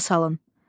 Yada salın.